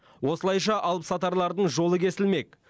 осылайша алып сатарлардың жолы кесілмек